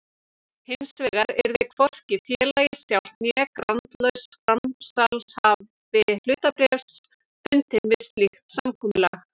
Hinsvegar yrði hvorki félagið sjálft né grandlaus framsalshafi hlutabréfs bundinn við slíkt samkomulag.